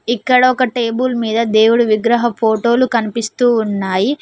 ఇక్కడొక టేబుల్ మీద దేవుడు విగ్రహ ఫోటోలు కనిపిస్తూ ఉన్నాయి.